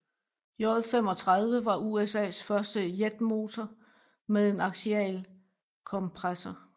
J35 var USAs første jetmotor med en aksial kompressor